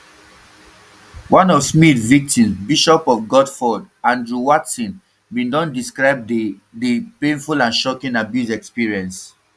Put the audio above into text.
one of smyth victims bishop of guildford andrew watson bin don describe di the painful and shocking abuse experience